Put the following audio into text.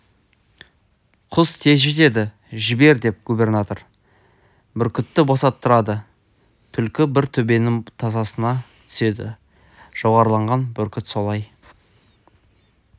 құс тез жетеді жібер деп губернатор бүркітті босаттырады түлкі бір төбенің тасасына түседі жоғарылаған бүркіт солай